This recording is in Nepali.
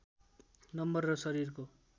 नम्बर र शरीरको